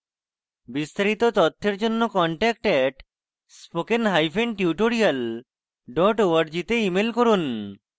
বিস্তারিত তথ্যের জন্য contact @spokentutorial org তে ইমেল করুন